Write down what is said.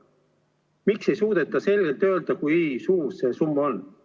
Miks ei suudeta selgelt öelda, kui suur see summa on?